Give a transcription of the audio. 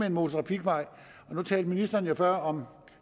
en motortrafikvej nu talte ministeren jo før om